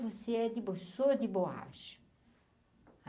Você é de bo sou de borracha?